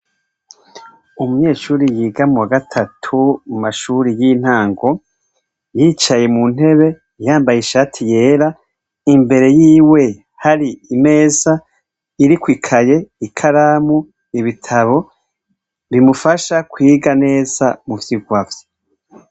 Umunyeshure yiga mu wagatatu mumashure yintango yicaye muntebe yambaye ishati yera imbere yiwe hari imeza iriko ikaye ikaramu ibitabo bimufasha kwiga neza muvyiga vye